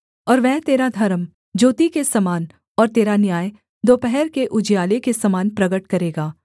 और वह तेरा धर्म ज्योति के समान और तेरा न्याय दोपहर के उजियाले के समान प्रगट करेगा